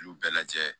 Y'u bɛɛ lajɛ